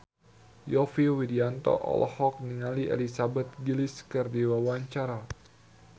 Yovie Widianto olohok ningali Elizabeth Gillies keur diwawancara